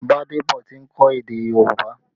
Gbadebo ti ń kọ́ èdè Yorùbá